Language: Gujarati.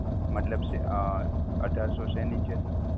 મતલબ અ અઢારસો શેની છે sir